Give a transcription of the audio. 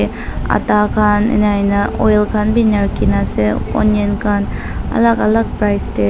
atta khan enahoina oil khan bi ena rakhina ase onion khan alak alak price tae.